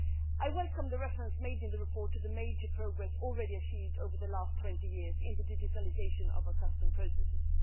I welcome the reference made in the report to the major progress already achieved over the last 20 years in the digitalisation of our customs processes.